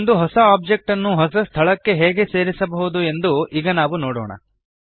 ಒಂದು ಹೊಸ ಓಬ್ಜೆಕ್ಟ್ ನ್ನು ಹೊಸ ಸ್ಥಳಕ್ಕೆ ಹೇಗೆ ಸೇರಿಸಬಹುದು ಎಂದು ಈಗ ನಾವು ನೋಡೋಣ